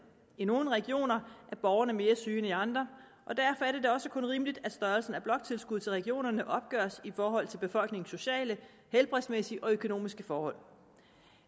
i nogle regioner er borgerne mere syge end i andre og derfor er det da også kun rimeligt at størrelsen af bloktilskuddet til regionerne opgøres i forhold til befolkningens sociale helbredsmæssige og økonomiske forhold